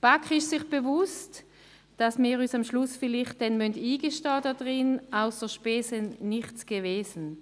Die BaK ist sich bewusst, dass wir uns vielleicht am Schluss eingestehen müssen, «ausser Spesen nichts gewesen».